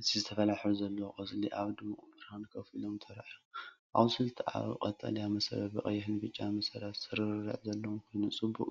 እዚ ዝተፈላለየ ሕብሪ ዘለዎም ቆጽሊ ኣብ ድሙቕ ብርሃን ኮፍ ኢሎም ተራእዮም። ኣቝጽልቱ ኣብ ቀጠልያ መሰረት ብቐይሕን ብጫን መስመራት ስርርዕ ዘለዎ ኮይኑ፡ ጽቡቕ